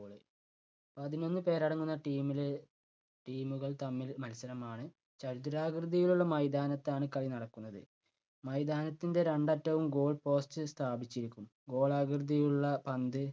പതിനൊന്നുപേര് അടങ്ങുന്ന team ല് team കൾ തമ്മിൽ മത്സരമാണ് ചതുരാകൃതിയിലുള്ള മൈതാനത്താണ് കളി നടക്കുന്നത്. മൈതാനത്തിൻ്റെ രണ്ടറ്റവും goal post സ്ഥാപിച്ചിരിക്കും. ഗോളാകൃതിയിലുള്ള പന്ത്